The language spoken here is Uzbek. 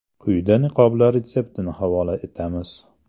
Quyida niqoblar retseptini havola etamiz.